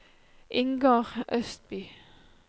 Ingar Østby